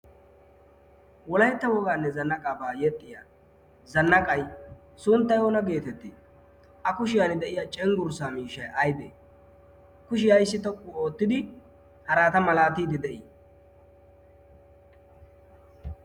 wolaitta wogaanne zanna qaabaa yexxiya zannaqay sunttay oona geetettee a kushiyan de'iya cenggurssaa miishshai aibee kushi ayssi toqqu oottidi harata malaatiiddi de'ii?